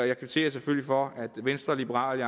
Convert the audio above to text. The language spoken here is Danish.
jeg kvitterer selvfølgelig for at venstre liberal